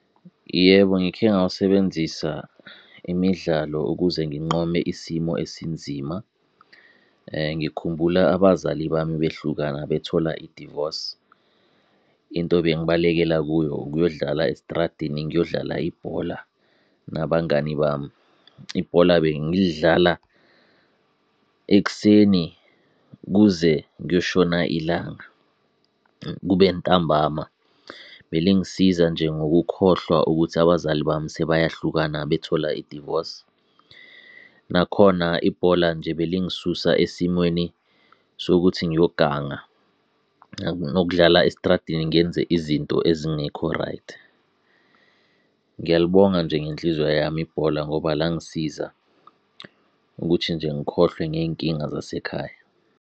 Yebo ngikhe ngawusebenzisa, imidlalo ukuze nginqome isimo esinzima. Ngikhumbula abazali bami bahlukana bethola i-divorce. Into ebengibalekela kuyo ukuyodlala estradini ngiyodlala ibhola nabangani bami. Ibhola bengilidlala ekuseni kuze kuyoshona ilanga, kube ntambama. Belingisiza nje ngokukhohlwa ukuthi abazali bami sebayahlukana bethola i-divorce. Nakhona ibhola nje belingisusa esimweni sokuthi ngiyoganga, nokudlala estradini ngenze izinto ezingekho right. Ngiyalibonga nje ngenhliziyo yami ibhola ngoba langisiza ukuthi nje ngikhohlwe ngey'nkinga zasekhaya.